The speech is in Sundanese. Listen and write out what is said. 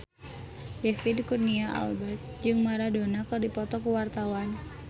David Kurnia Albert jeung Maradona keur dipoto ku wartawan